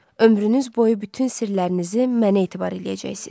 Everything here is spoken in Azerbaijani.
Ömrünüz boyu bütün sirlərinizi mənə etibar eləyəcəksiniz.